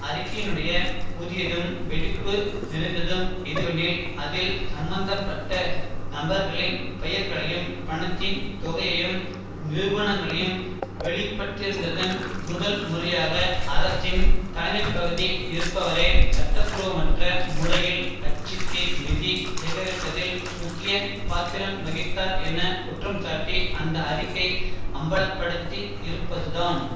அறிக்கையினுடைய புதியதும் வெடிப்பு நிறைந்ததும் எதுவெனில் அதில் சம்பந்த பட்ட நபர்களின் பெயர்களையும் பணத்தின் தொகையையும் நிரூபணங்களையும் வெளியிட்டிருந்ததன் முதல் முறையாக அரசின் தலைமைப்பகுதி இருப்பவரே சட்டபூர்வமற்ற முறையில் கட்சிக்கு நிதி செகரிப்பதில் முக்கிய பாத்திரம் வகித்தார் என குற்றம்சாட்டி அந்த அறிக்கை அம்பல படுத்தி இருப்பதுதான்